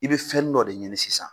I be fɛnnin dɔ de ɲini sisan.